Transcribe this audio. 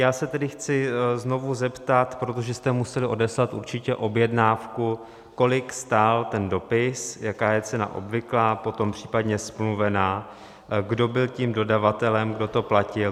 Já se tedy chci znovu zeptat, protože jste museli odeslat určitě objednávku, kolik stál ten dopis, jaká je cena obvyklá, potom případně smluvená, kdo byl tím dodavatelem, kdo to platil.